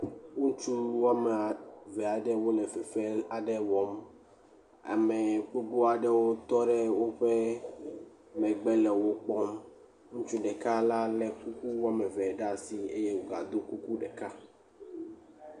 Ŋutsu ade aɖewo le fefem aɖe wɔm. Ame gbogbo aɖewo tɔ ɖe woƒe megbe le wo kpɔm. Ŋutsu ɖekala lé woame ve ɖaa si eye wògado kuku ɖeka.